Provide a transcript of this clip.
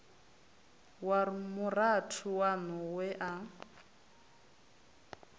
wa murathu waṋu we a